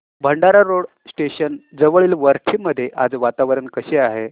Bhandara road station जवळील वरठी मध्ये आज वातावरण कसे आहे